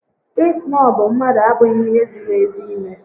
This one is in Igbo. Ị snọbụ mmadụ abụghị ihe ziri ezi ime